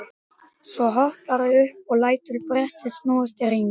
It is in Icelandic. Svo hopparðu upp og lætur brettið snúast í hring.